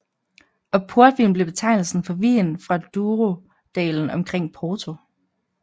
Og portvin blev betegnelsen for vin fra Douro dalen omkring Porto